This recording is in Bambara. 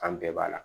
An bɛɛ b'a la